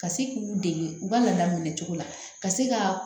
Ka se k'u dege u ka la minɛ cogo la ka se ka